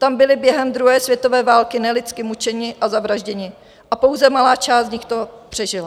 Tam byli během druhé světové války nelidsky mučeni a zavražděni a pouze malá část z nich to přežila.